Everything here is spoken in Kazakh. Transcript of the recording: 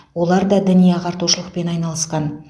олар да діни ағартушылықпен айналысқан